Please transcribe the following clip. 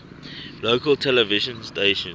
local television stations